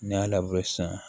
N'i y'a labure sisan